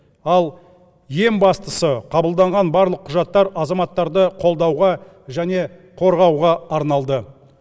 ал ең бастысы қабылданған барлық құжаттар азаматтарды қолдауға және қорғауға арналды